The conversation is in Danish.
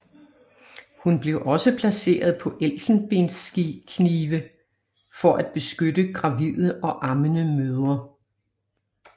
Hun blev også placeret på elfenbensknive for at beskytte gravide og ammende mødre